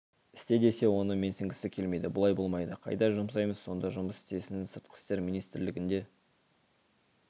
істе десе оны менсінгісі келмейді бұлай болмайды қайда жұмсаймыз сонда жұмыс істесін сыртқы істер министрлігінде